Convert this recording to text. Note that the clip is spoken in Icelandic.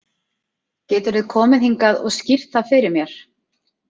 Geturðu komið hingað og skýrt það fyrir mér?